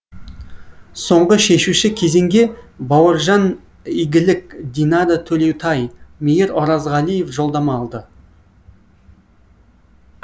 соңғы шешуші кезеңге бауыржан игілік динара төлеутай мейір оразғалиев жолдама алды